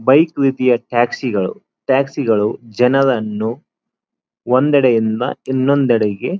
bike ರೀತಿಯ ಟ್ಯಾಕ್ಸಿಗಳು ಟ್ಯಾಕ್ಸಿಗಳು ಜನರನ್ನು ಒಂದೇಡೇ ಇಂದ ಇನ್ನೊಂದೆಡೆಗೆ--